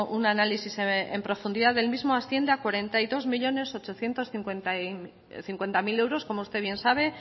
un análisis en profundidad del mismo asciende a cuarenta y dos millónes ochocientos cincuenta mil euros como usted bien sabe